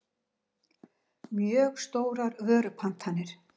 mjög stórar vörupantanir.